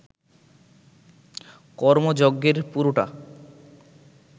কর্মযজ্ঞের পুরোটা